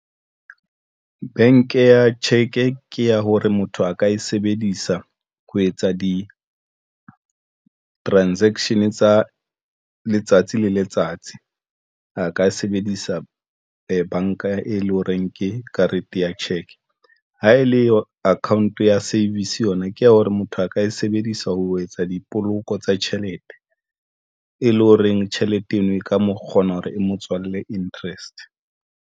Bank ya cheque ke ya hore motho a ka e sebedisa ho etsa di-transaction tsa letsatsi le letsatsi a ka sebedisa banka e leng horeng ke karete ya cheque. Ha e le account ya savings yona ke ya hore motho a ka e sebedisa ho etsa dipoloko tsa tjhelete, e leng horeng tjhelete eno e ka mo kgona hore e motswalle interest.